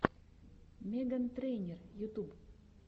меган трейнер ютуб